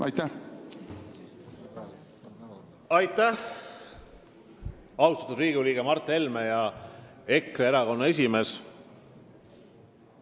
Aitäh, austatud Riigikogu liige ja EKRE esimees Mart Helme!